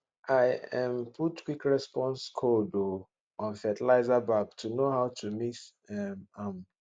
i um put quick response code um on fertiliser bag to know how to mix um am